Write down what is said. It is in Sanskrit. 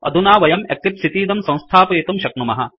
अधुना वयं एक्लिप्स इतीदं संस्थापयितुं शक्नुमः